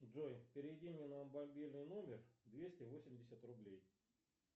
джой переведи мне на мобильный номер двести восемьдесят рублей